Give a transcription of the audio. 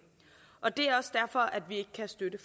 og det er også derfor vi ikke kan støtte